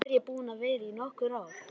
Samt er ég búin að vera í nokkur ár.